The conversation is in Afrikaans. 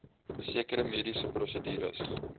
sekere mediese prosedures